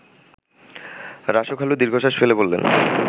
রাসু খালু দীর্ঘশ্বাস ফেলে বলেন